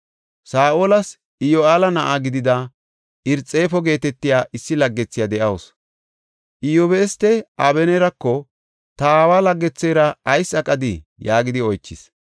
Saa7olas Iyoheela na7a gidida Irxifo geetetiya issi laggethiya de7awusu; Iyabustey Abeneerako, “Ta aawa laggethera ayis aqadii?” yaagidi oychis.